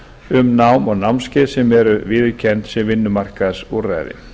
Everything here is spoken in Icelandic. um nám og námskeið sem eru viðurkennd sem vinnumarkaðsúrræði